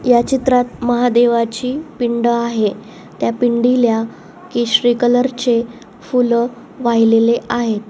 ह्या चित्रात महादेवची पिंड आहे त्या पिंडीला केशरी कलर चे फूल वाहिलेले आहे.